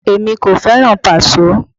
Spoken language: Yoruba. Èmi kò fẹ́ràn Paso